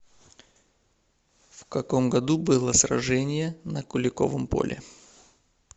в каком году было сражение на куликовом поле